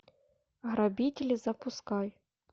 грабители запускай